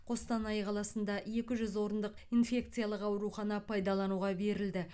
қостанай қаласында екі жүз орындық инфекциялық аурухана пайдалануға берілді